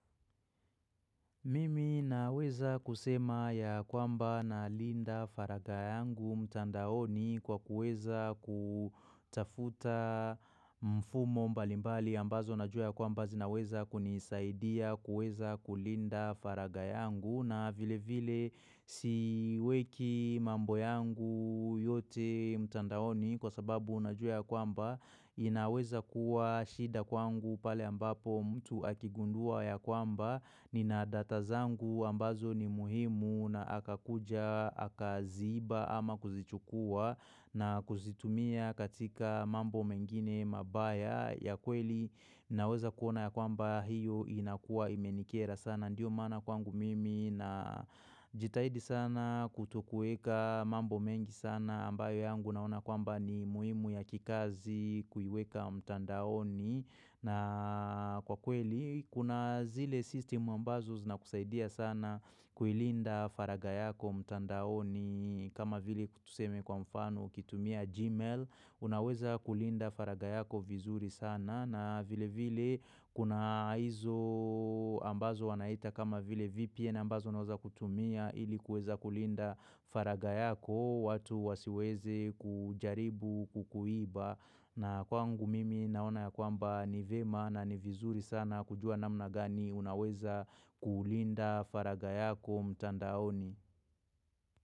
Mimi naweza kusema ya kwamba nalinda faragha yangu mtandaoni kwa kuweza kutafuta mfumo mbalimbali ambazo najua ya kwamba zinaweza kunisaidia kuweza kulinda faragha yangu na vile vile siweki mambo yangu yote mtandaoni kwa sababu najua ya kwamba inaweza kuwa shida kwangu pale ambapo mtu akigundua ya kwamba nina data zangu ambazo ni muhimu na akakuja akaziiba ama kuzichukua na kuzitumia katika mambo mengine mabaya ya kweli naweza kuona ya kwamba hiyo inakua imenikera sana ndiyo maana kwangu mimi na jitahidi sana kutokueka mambo mengi sana ambayo yangu naona kwamba ni muhimu ya kikazi kuiweka mtandaoni. Na kwa kweli kuna zile system ambazo zinakusaidia sana kuilinda faraga yako mtandaoni kama vile tuseme kwa mfano ukitumia gmail. Unaweza kulinda faraga yako vizuri sana na vile vile kuna hizo ambazo wanaita kama vile VPN ambazo unaweza kutumia ili kuweza kulinda faraga yako watu wasiweze kujaribu kukuiba na kwangu mimi naona ya kwamba ni vema na ni vizuri sana kujua namna gani unaweza kulinda faraga yako mtandaoni.